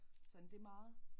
Sådan det meget